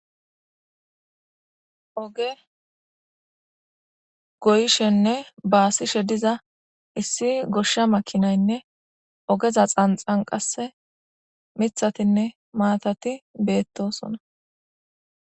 oge goyishenne baasishe diza issi goshsha makinaynne ogeza xanxan qasse mithatinne maatati beettosona